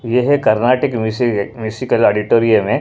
यह कर्नाटक मिसि-मिसिजक ऑडिटोरियम है।